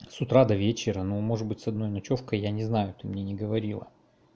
с утра до вечера ну может быть с одной ночёвкой я не знаю ты мне не говорила